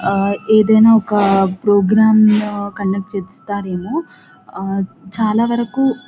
ఆ ఏదైనా ఒక ప్రోగ్రాం కండక్ట్ చేస్తారేమోఆ చాలా వరకు--